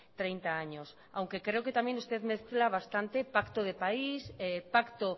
treinta años aunque creo que también usted mezcla bastante pacto de país pacto